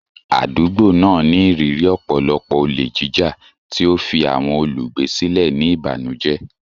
Àdúgbò náà ní ìrírí ọ̀pọ̀lọpọ̀ olè jíjà, tí ó fi àwọn olùgbé sílẹ̀ ní ìbànújẹ́.